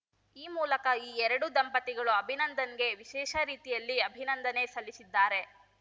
ಈ ಮೂಲಕ ಈ ಎರಡೂ ದಂಪತಿಗಳು ಅಭಿನಂದನ್‌ಗೆ ವಿಶೇಷ ರೀತಿಯಲ್ಲಿ ಅಭಿನಂದನೆ ಸಲ್ಲಿಸಿದ್ದಾರೆ